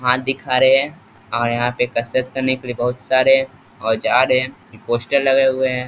हाथ दिख रहे है और यहाँ पर कसरत करने के बहुत सारे औजार है ये पोस्टर लगे हुए हैं।